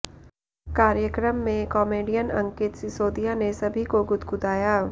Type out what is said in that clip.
कार्यक्रम में comedian Ankit Sisodia ने सभी को गुदगुदाया